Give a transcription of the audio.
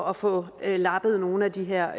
at få lappet nogle af de her